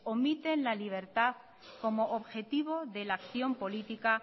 omiten la libertad como objetivo de la acción política